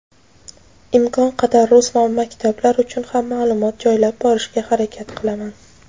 Imkon qadar rus maktablar uchun ham ma’lumot joylab borishga harakat qilaman.